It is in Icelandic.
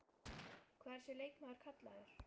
Hvað er þessi leikmaður kallaður?